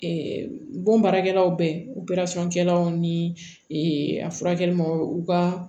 bonbaarakɛlaw bɛ kɛlaw ni a furakɛli ma u ka